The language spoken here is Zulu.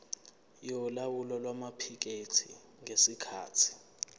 yolawulo lwamaphikethi ngesikhathi